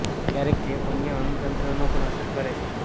ક્યારેક ચેપ અન્ય અંગ તંત્રોને પણ અસર કરે છે